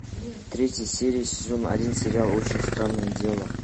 третья серия сезон один сериал очень странные дела